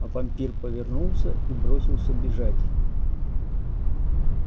а вампир повернулся и бросился бежать